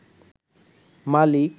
মালিক